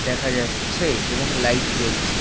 দেখা যাচ্ছে এবং লাইট জ্বলছে ।